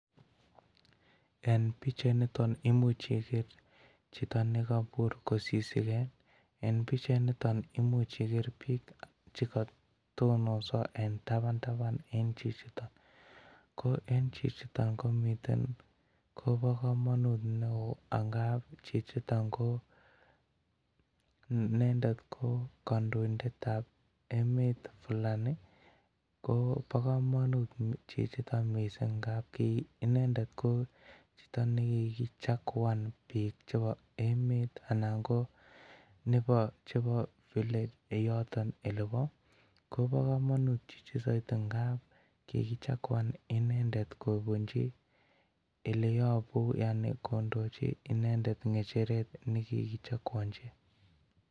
En bichait Ni imuch Iger Chito negobur kosisigen en bichait niton imuch Iger bik chekatononso en tabataban ko en chichiton komii kobokomonut neo ngab chichiton ko nendet ko kondoindet tab emet Fulani ko Bo komonut Chichiton mising ngab inendet ko Chito nekigichakuan bik chebo emet aln KO bik gab yoton elebo kobokomonut chichiton ngab kigichakuan inendet kobunji eleyobu kondochi inendet ngecheretnekigichokuonji.